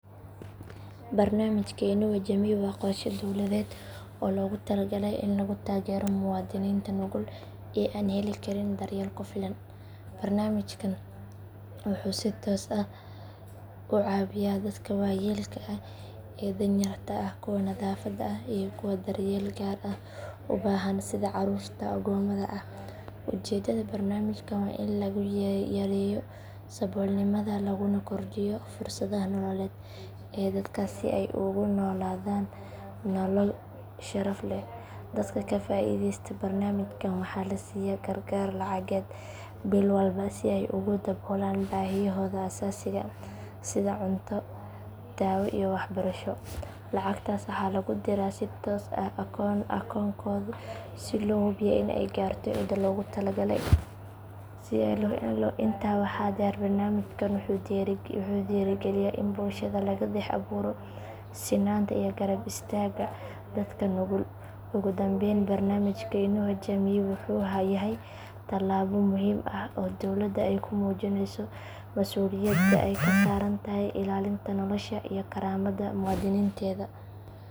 Barnaamijka Inua Jamii waa qorshe dowladeed oo loogu talagalay in lagu taageero muwaadiniinta nugul ee aan heli karin daryeel ku filan. Barnaamijkan wuxuu si toos ah u caawiyaa dadka waayeelka ah ee danyarta ah kuwa naafada ah iyo kuwa daryeel gaar ah u baahan sida caruurta agoomada ah. Ujeedada barnaamijkan waa in lagu yareeyo saboolnimada laguna kordhiyo fursadaha nololeed ee dadkaas si ay ugu noolaadaan nolol sharaf leh. Dadka ka faa'iideysta barnaamijkan waxaa la siiyaa gargaar lacageed bil walba si ay ugu daboolaan baahiyahooda aasaasiga ah sida cunto daawo iyo waxbarasho. Lacagtaas waxaa lagu diraa si toos ah akoonkooda si loo hubiyo in ay gaarto cidda loogu talagalay. Intaa waxaa dheer barnaamijkan wuxuu dhiirrigeliyaa in bulshada laga dhex abuuro sinnaanta iyo garab istaagga dadka nugul. Ugu dambayn barnaamijka Inua Jamii wuxuu yahay tallaabo muhiim ah oo dowladda ay ku muujineyso mas'uuliyadda ay ka saaran tahay ilaalinta nolosha iyo karaamada muwaadiniinteeda.